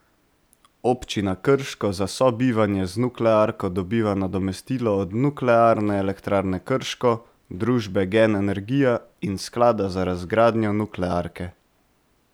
Občina Krško za sobivanje z nuklearko dobiva nadomestilo od Nuklearne elektrarne Krško, družbe Gen energija in sklada za razgradnjo nuklearke.